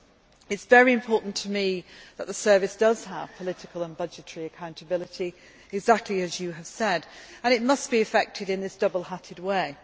It is very important to me that the Service has political and budgetary accountability, exactly as you have said, and it must be effected in this double hatted way.